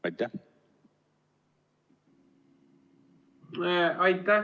Aitäh!